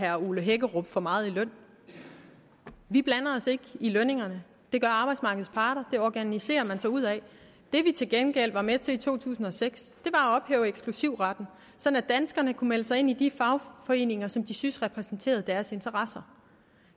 herre ole hækkerup for meget i løn vi blander os ikke i lønningerne det gør arbejdsmarkedets parter det organiserer man sig ud af det vi til gengæld var med til i to tusind og seks at ophæve eksklusivretten sådan at danskerne kunne melde sig ind i de fagforeninger som de synes repræsenterede deres interesser